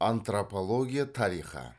антропология тарихы